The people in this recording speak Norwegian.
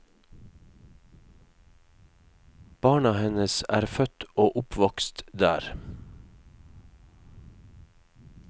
Barna hennes er født og oppvokst der.